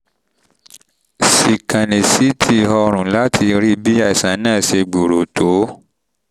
síkánì ct ọrùn láti rí bí àìsàn náà ṣe gbòòrò tó